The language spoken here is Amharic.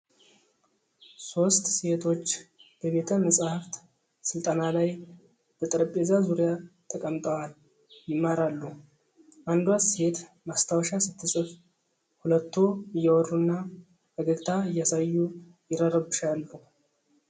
ሶስት ሴቶች በቤተ-መጽሐፍት ሥልጠና ላይ በጠረጴዛ ዙሪያ ተቀምጠዋል የማራሉ ። አንዷ ሴት ማስታወሻ ስትጽፍ፣ ሁለቱ እያወሩና ፈገግታ እያሳዩ ይረርብሻሉ ።